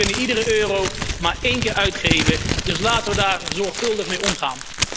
We kunnen iedere euro maar één keer uitgeven, dus laten we er zorgvuldig mee omgaan.